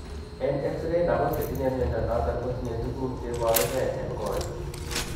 en X ray, lagok chetinye mnyondo noton kotinye tuguk cheboru gee en koweg